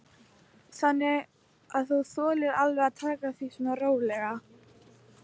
Þannig að þú þolir alveg að taka því svona rólega?